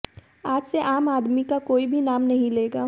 आज से आम आदमी का भी कोई नाम नहीं लेगा